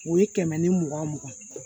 O ye kɛmɛ ni mugan mugan ye